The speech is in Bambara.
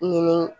Ɲini